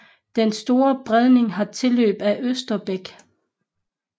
Den Store Bredning har tilløb af Østerbæk